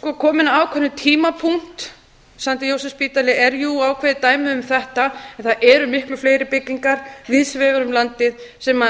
komið að ákveðnum tímapunkti st jósefsspítali er jú ákveðið dæmi um þetta en það eru miklu fleiri byggingar víðs vegar um landið sem